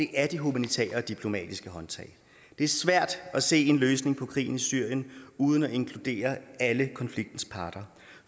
er de humanitære og diplomatiske håndtag det er svært at se en løsning på krigen i syrien uden at inkludere alle konfliktens parter